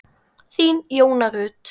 Þín, Jóna Rut.